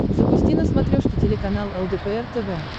запусти на смотрешке телеканал лдпр тв